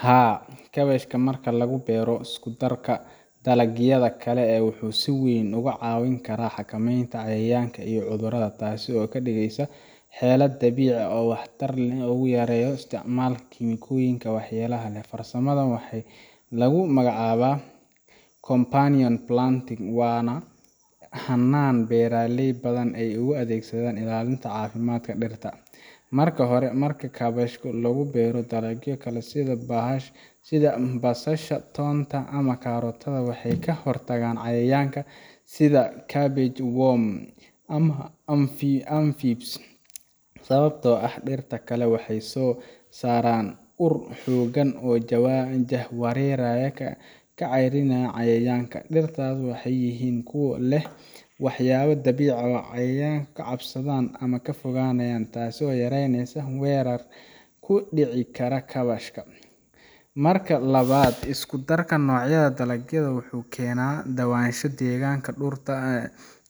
Haa, kaabashka marka lagu beero isku darka dalagyada kale wuxuu si weyn uga caawin karaa xakameynta cayayaanka iyo cudurrada, taasoo ka dhigaysa xeelad dabiici ah oo waxtar leh oo lagu yareeyo isticmaalka kiimikooyinka waxyeelada leh. Farsamadan waxaa lagu magacaabaa companion planting, waana hannaan beeraley badan ay u adeegsadaan ilaalinta caafimaadka dhirta. Marka hore, marka kaabashka lagu beero dalagyo kale sida basasha, toonka, ama karootada, waxay ka hortagaan cayayaanka sida cabbage worm ama aphids, sababtoo ah dhirtaas kale waxay soo saaraan ur xooggan oo jahawareeriya ama ka caraysiiya cayayaanka. Dhirtaas waxay yihiin kuwo leh waxyaabo dabiici ah oo cayayaanka ka cabsadaan ama ka fogaanayaan, taasoo yareyneysa weerarka ku dhici kara kaabashka. Marka labaad, isku darka noocyada dalagyada wuxuu keenaa kala duwanaansho deegaanka